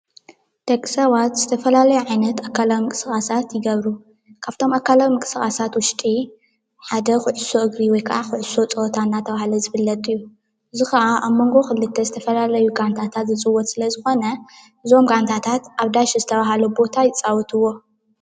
ደቂ ሰባት ዝተፈላለዩ ዓይነት ኣካላዊ ምንቅስቓሳት ይገብሩ፡፡ ካብ እቶም ኣካላዊ ምንቅስቓሳት ውሽጢ ሓደ ኩዕሾ እግሪ ወይ ኩዕሾ ፀወታ እናተባህለ ዝፍለጥ እዩ፡፡ እዚ ከዓ ኣብ መንጎ ክልተ ዝተፈላለዩ ጋንታታት ዝፅወት ስለዝኾነ እዞም ጋንታታት ኣብ ዳሽ ዝተባህለ ቦታ ይፃወትዎ፡፡